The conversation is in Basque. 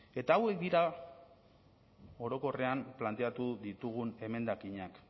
eta hauek dira orokorrean planteatu ditugun emendakinak